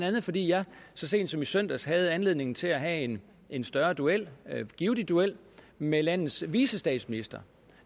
fordi jeg så sent som i søndags havde anledning til at have en større duel givtig duel med landets vicestatsminister